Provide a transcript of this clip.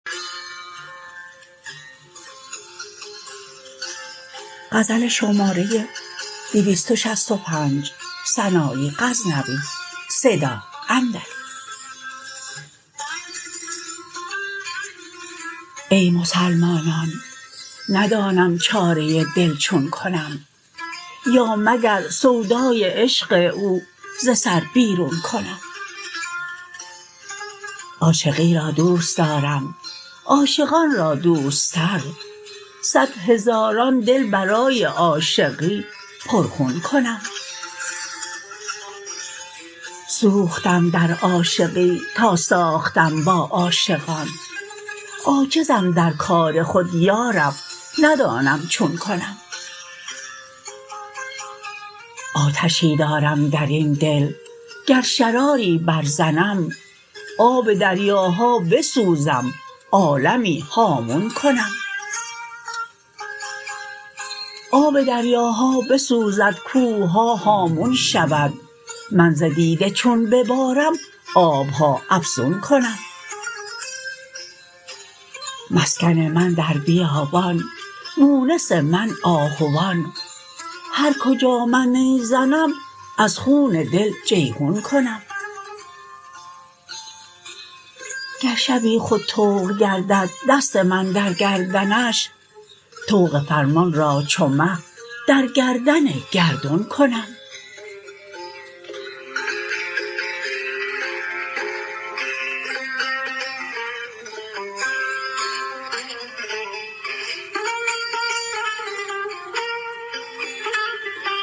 ای مسلمانان ندانم چاره دل چون کنم یا مگر سودای عشق او ز سر بیرون کنم عاشقی را دوست دارم عاشقان را دوستر صدهزاران دل برای عاشقی پر خون کنم سوختم در عاشقی تا ساختم با عاشقان عاجزم در کار خود یارب ندانم چون کنم آتشی دارم درین دل گر شراری بر زنم آب دریاها بسوزم عالمی هامون کنم آب دریاها بسوزد کوه ها هامون شود من ز دیده چون ببارم آب ها افزون کنم مسکن من در بیابان مونس من آهوان هر کجا من نی زنم از خون دل جیحون کنم گر شبی خود طوق گردد دست من در گردنش طوق فرمان را چو مه در گردن گردون کنم